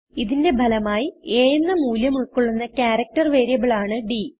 ഇതിന്റെ ഫലമായി A എന്ന മൂല്യം ഉൾകൊള്ളുന്ന ക്യാരക്ടർ വേരിയബിൾ ആണ് ഡ്